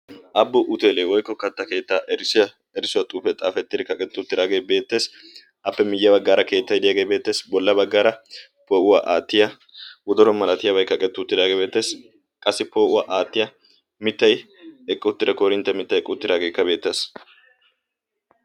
Abo huteeliya woykko kattaa keettaa erissuwa xifete xaafettidi kaqqetti uttidaage beettees, appe myee baggaara keettay keexetti uttidaagee beettees appe bolla baggaara poo'uwa aattiya wodoro malatiyaaba kaqqettidi uttidaage beettees. qassi poo'uwaa aattiya mittay eqqi uttida koorinttiya mittaa eqqi uttidaagekka beettees.